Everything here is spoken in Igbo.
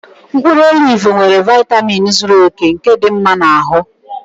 Mkpụrụ olivu nwere vaitamin zuru oke nke dị mma na ahụ